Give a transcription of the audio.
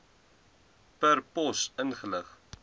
per pos ingelig